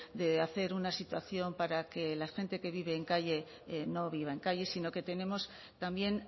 de hacer una situación para que la gente que vive en calle no viva en calles sino que tenemos también